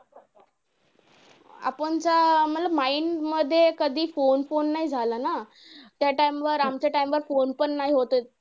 आपणच्या mind मध्ये कधी phone phone नाही झालं ना! त्या time वर आमच्या time वर phone पण नाही होते.